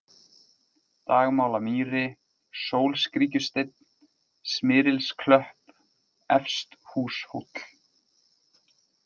Dagmálamýri, Sólskríkjusteinn, Smyrilsklöpp, Efsthúshóll